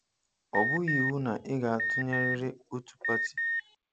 Ọ bụghị íwú nà ị̀ gá-àtùnyérị́rị́ ótù pati